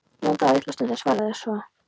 Jón þagði litla stund en svaraði svo